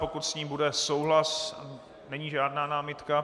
Pokud s ní bude souhlas - není žádná námitka?